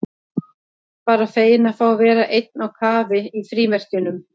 Bara feginn að fá að vera einn á kafi í frímerkjunum.